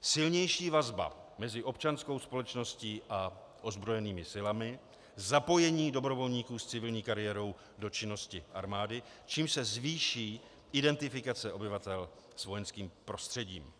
silnější vazba mezi občanskou společností a ozbrojenými silami, zapojení dobrovolníků s civilní kariérou do činnosti armády, čímž se zvýší identifikace obyvatel s vojenským prostředím.